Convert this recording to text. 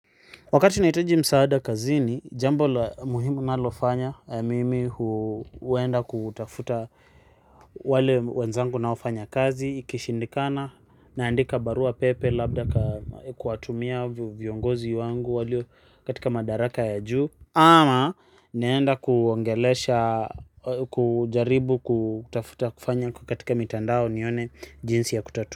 Wakati nahitaji msaada kazini, jambo la muhimu nalofanya, mimi huenda kutafuta wale wenzangu naofanya kazi, ikishindikana, naandika barua pepe labda kuwatumia viongozi wangu walio katika madaraka ya juu, ama naenda kuongelesha, kujaribu kutafuta kufanya kwa katika mitandao nione jinsi ya kutatua.